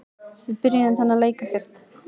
Við byrjuðum þennan leik ekkert.